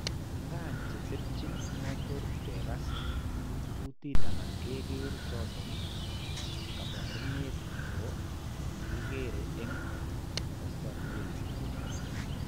Nkaa, chetepchen motor, kekas, kuutiit anan keker choton kaabarunet ko makikere eng' kasarwek chechang'.